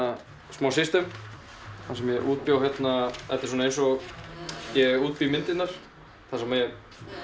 smá kerfi þar sem ég útbjó þetta er eins og ég útbý myndirnar þar sem ég